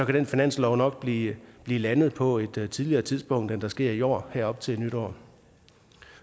den finanslov nok blive landet på et tidligere tidspunkt end det sker i år her op til nytår